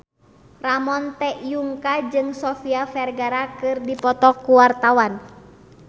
Ramon T. Yungka jeung Sofia Vergara keur dipoto ku wartawan